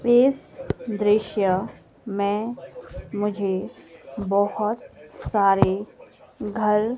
इस दृश्य में मुझे बहुत सारे घर--